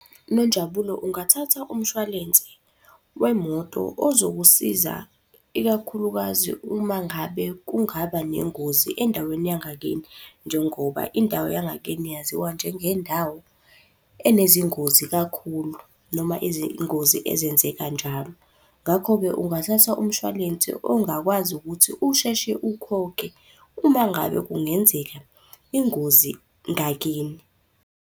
Nonjabulo, ungathatha umshwalense wemoto ozokusiza ikakhulukazi uma ngabe kungaba nengozi endaweni yangakini njengoba indawo yangakini yaziwa njengendawo enezingozi kakhulu, noma izingozi ezenzeka njalo. Ngakho-ke ungathatha umshwalense ongakwazi ukuthi usheshe ukhokhe uma ngabe kungenzeka ingozi ngakini.